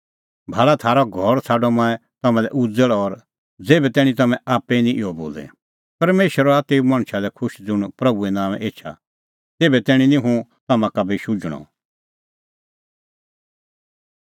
भाल़ा थारअ घर छ़ाडअ मंऐं तम्हां लै उज़ल़ और ज़ेभै तैणीं तम्हैं आप्पै निं इहअ बोले परमेशर हआ तेऊ मणछा लै खुश ज़ुंण प्रभूए नांओंए एछा तेभै तैणीं निं हुंह तम्हां का भी शुझणअ